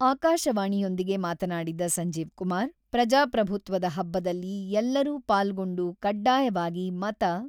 ಆಕಾಶವಾಣಿಯೊಂದಿಗೆ ಮಾತನಾಡಿದ ಸಂಜೀವ್ ಕುಮಾರ್, ಪ್ರಜಾಪ್ರಭುತ್ವದ ಹಬ್ಬದಲ್ಲಿ ಎಲ್ಲರೂ ಪಾಲ್ಗೊಂಡು ಕಡ್ಡಾಯವಾಗಿ ಮತ